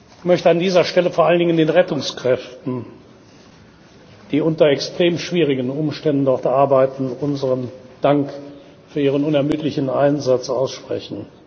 Ich möchte an dieser Stelle vor allen Dingen den Rettungskräften, die unter extrem schwierigen Umständen dort arbeiten, unseren Dank für ihren unermüdlichen Einsatz aussprechen.